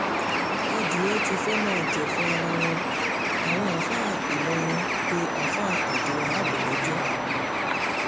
adìẹ́ ti fẹ́ẹ́ máa jẹ̀fun ara wọn àwọn àáfáà ìlọrin pé àáfà abdulwaab lẹ́jọ́